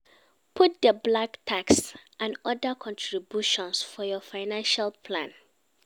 Put di black tax and other contributions for your financial plan